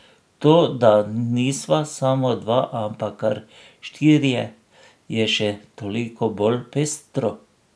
To, da nisva samo dva, ampak kar štirje, je še toliko bolj pestro.